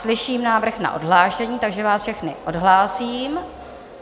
Slyším návrh na odhlášení, takže vás všechny odhlásím.